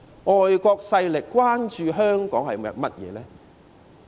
外國勢力關注香港些甚麼呢？